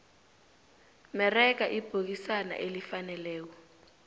merega ibhokisana elifaneleko